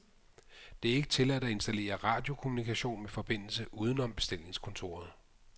Det er ikke tilladt at installere radiokommunikation med forbindelse udenom bestillingskontoret .